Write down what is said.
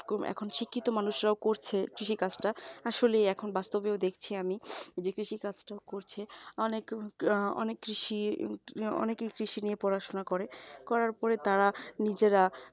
এখন শিক্ষিত মানুষরাও করছে কৃষিকাজটা আসলেই এখন বাস্তবেও দেখছি আমি কৃষি কাজটা করছে অনেক অনেক কৃষি অনেকেই কৃষি নিয়ে পড়াশোনা করে করার পরে তারা নিজেরা